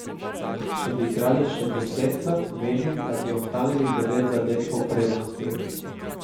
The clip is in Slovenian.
Če bi igrali še desetkrat, menim, da bi ohranili devet zadetkov prednosti.